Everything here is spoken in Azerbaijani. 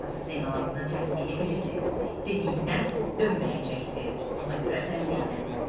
Atası Zeynalabddinin tərsliyini bilirdi, dediyindən dönməyəcəkdi, buna görə də dillənmədi.